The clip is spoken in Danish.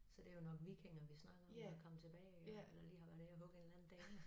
Så det jo nok vikinger vi snakker om der kommet tilbage og eller lige har været ovre og hugge en eller anden dame